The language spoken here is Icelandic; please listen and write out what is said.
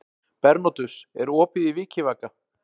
Bernódus, er opið í Vikivaka?